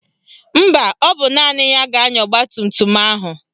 Mba, ọ bụ naanị ya ga-anya ọgbatumtum ahụ